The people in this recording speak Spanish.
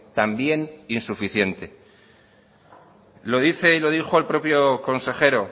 también insuficiente lo dice y lo dijo el propio consejero